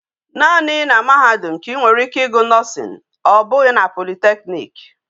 Naani na mahadum ka I nwere ike igu Nursing o bughi na polytechnic